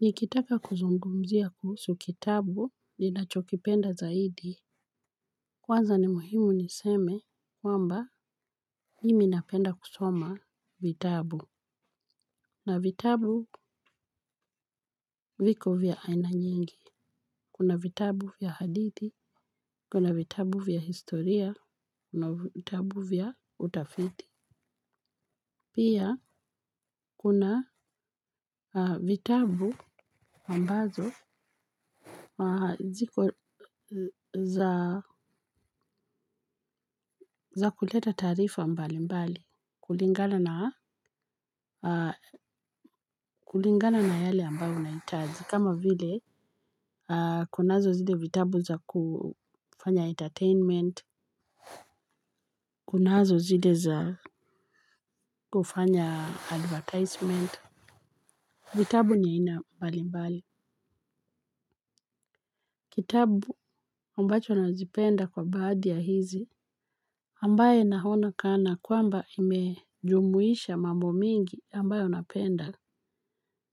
Nikitaka kuzungumzia kuhusu kitabu ninachokipenda zaidi. Kwanza ni muhimu niseme kwamba mimi napenda kusoma vitabu. Na vitabu viko vya aina nyingi. Kuna vitabu vya hadithi. Kuna vitabu vya historia. Kuna vitabu vya utafiti. Pia kuna vitabu ambazo haziko za kuleta tarifa mbali mbali. Kulingana na yale ambayo unahitaji kama vile kunazo zile vitabu za kufanya entertainment, kunazo zile za kufanya advertisement. Vitabu ni vya ina mbalimbali. Kitabu mbacho nazipenda kwa baadhi ya hizi ambaye naona kana kwamba imejumuisha mambo mingi ambayo napenda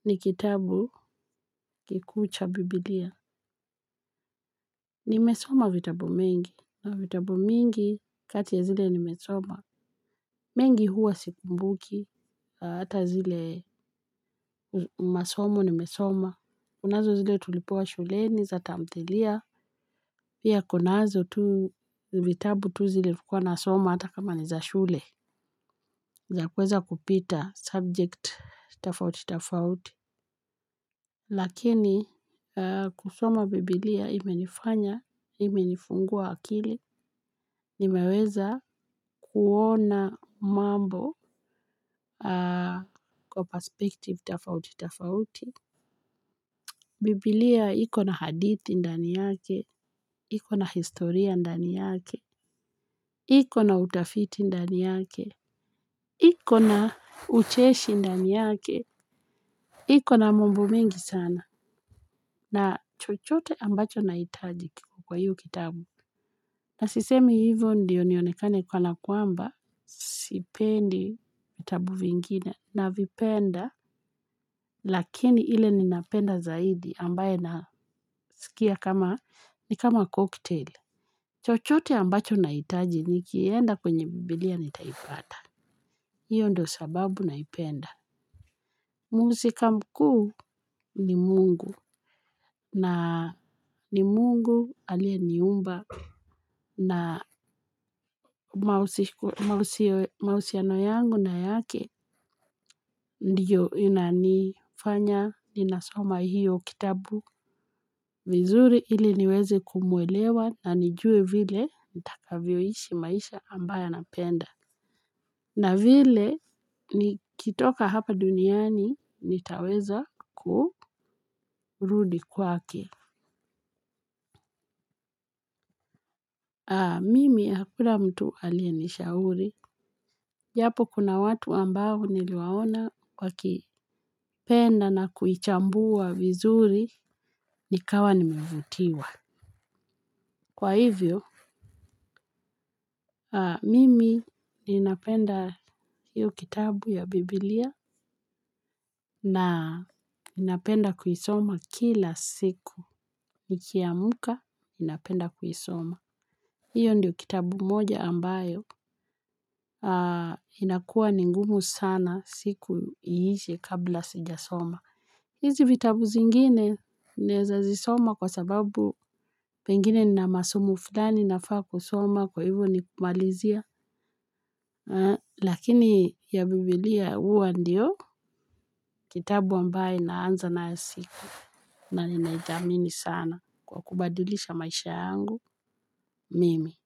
ni kitabu kikuu cha biblia. Nimesoma vitabu mingi, vitabu mingi kati ya zile nimesoma. Mengi huwa sikumbuki, hata zile masomo nimesoma. Kunazo zile tulipewa shuleni za tamthilia. Pia kunazo vitabu tu zile nilikuwa na soma hata kama ni za shule. Na kuweza kupita subject tofauti tofauti. Lakini kusoma Biblia imenifanya, imenifungua akili, nimeweza kuona mambo kwa perspective tofauti tofauti Biblia iko na hadithi ndani yake, iko na historia ndani yake. Iko na utafiti ndani yake iko na ucheshi ndani yake. Iko na mambo mingi sana na chochote ambacho nahitaji kwa hiyo kitabu. Na sisemi hivyo ndiyo nionekane kana kwamba sipendi vitabu vingine na vipenda. Lakini ile ninapenda zaidi ambaye nasikia kama ni kama koktel. Chochote ambacho nahitaji nikienda kwenye bibilia nitaipata. Hiyo ndio sababu naipenda. Muhusika mkuu ni mungu na ni mungu aliyeniumba na mahusiano yangu na yake ndiyo inanifanya, ninasoma hiyo kitabu vizuri ili niweze kumuelewa na nijue vile nitakavyoishi maisha ambayo anapenda. Na vile, nikitoka hapa duniani, nitaweza kurudi kwake. Mimi, hakuna mtu aliyenishauri. Japo kuna watu ambao niliwaona wakipenda na kuichambua vizuri nikawa nimevutiwa. Kwa hivyo, mimi ninapenda hiyo kitabu ya Biblia na ninapenda kuisoma kila siku. Nikiamka, napenda kuisoma. Hiyo ndio kitabu moja ambayo, inakua ningumu sana siku iishe kabla sijasoma. Hizi vitabu zingine, naweza zisoma kwa sababu pengine nina masomo fulani nafaa kusoma kwa hivyo ni kumalizia. Lakini ya biblia huwa ndio, kitabu ambayo naanza nayo siku na ninaithamini sana kwa kubadilisha maisha yangu mimi.